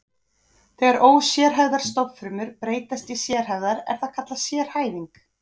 Þegar ósérhæfðar stofnfrumur breytast í sérhæfðar er það kallað sérhæfing.